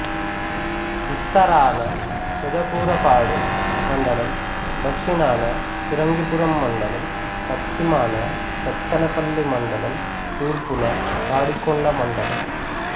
ఉత్తరాన పెదకూరపాడు మండలం దక్షణాన పిరంగిపురం మండలం పశ్చిమాన సత్తెనపల్లి మండలం తూర్పున తాడికొండ మండలం